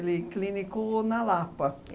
clinicou na Lapa.